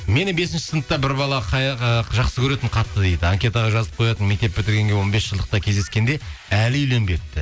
мені бесінші сыныпта бір бала ы жақсы көретін қатты дейді анкетаға жазып қоятын мектеп бітіргенге он бес жылдықта кезсескенде әлі үйленбепті